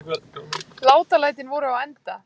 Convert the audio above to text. Látalætin voru á enda.